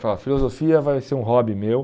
filosofia vai ser um hobby meu.